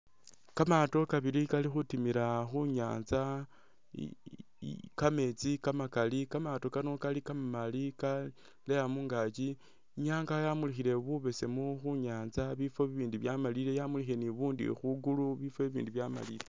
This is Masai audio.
Kamato kabili kali khutimila khunyanza kametsi kamakali kamaato Kano kali kama mali kaleya mungakyi, inyanga yamulikhile bubesemu khu nyatsa bifo bi bindi bya malile yamulikhile ni bu bundi khwi gulu bifo bi bindi bya malile.